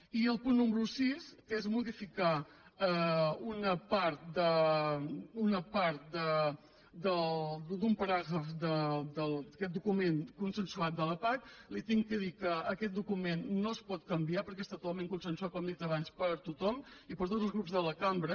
i el punt número sis que és modificar una part d’un paràgraf d’aquest document consensuat de la pac li he de dir que aquest document no es pot canviar perquè està totalment consensuat com he dit abans per tothom i per tots els grups de la cambra